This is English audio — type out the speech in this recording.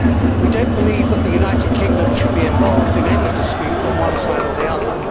We do not believe that the United Kingdom should be involved in any dispute on one side or the other.